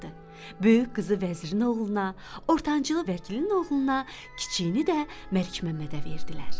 Böyük qızı vəzirin oğluna, ortancılı vəkilin oğluna, kiçiyini də Məlikməmmədə verdilər.